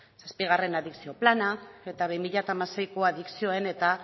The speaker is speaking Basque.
zazpigarren adikzio plana eta bi mila hamaseiko adikzioen eta